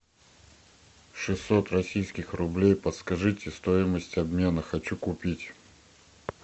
шестьсот российских рублей подскажите стоимость обмена хочу купить